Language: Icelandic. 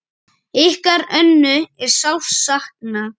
Ykkar Önnu er sárt saknað.